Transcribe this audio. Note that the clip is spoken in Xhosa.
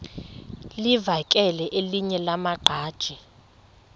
livakele elinye lamaqhaji